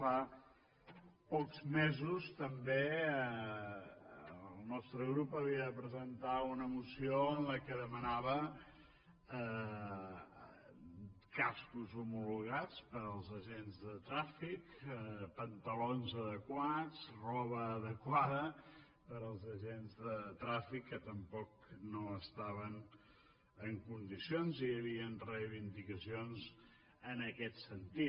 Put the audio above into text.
fa pocs mesos també el nostre grup havia de presentar una moció en la que demanava cascos homologats per als agents de trànsit pantalons adequats roba adequada per als agents de trànsit que tampoc no estaven en condicions i hi havia reivindicacions en aquest sentit